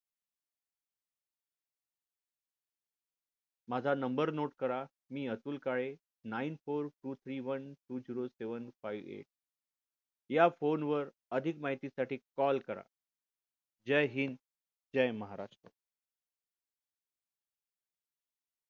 माझा number note करा मी Atul Kale nine four two three one two zero seven five eight या phone वर अधिक माहिती साठी call करा जय हिंद जय महाराष्ट्र